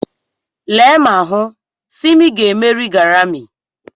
Lee ma hụ, Simi ga-emeri Garami.